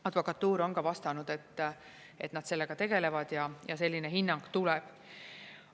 Advokatuur on ka vastanud, et nad sellega tegelevad ja selline hinnang tuleb.